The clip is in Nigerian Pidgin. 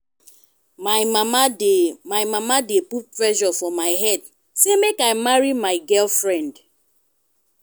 my mama dey mama dey put pressure for my head sey make i marry my girlfriend.